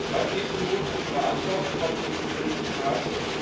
Was ist nun unsere Antwort auf diesen tödlichen Hass?